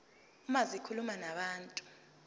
uma zikhuluma nabantu